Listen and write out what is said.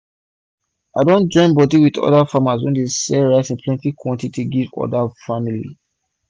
i don join bodi with oda farmers wey dey sell rice for plenty quantity give oda family